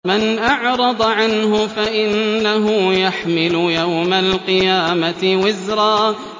مَّنْ أَعْرَضَ عَنْهُ فَإِنَّهُ يَحْمِلُ يَوْمَ الْقِيَامَةِ وِزْرًا